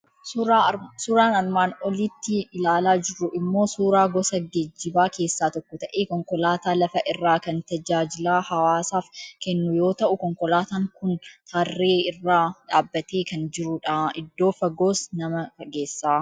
Suuraan armaan olitti ilaalaa jirru immoo suuraa gosa geejjibaa keessaa tokko ta'e, konkolaataa lafa irraa kan tajaajila hawaasaaf kennu yoo ta'u, konkolaataan kun tarree irra dhaabbatee kan jirudha. Iddoo faggoos nama geessa.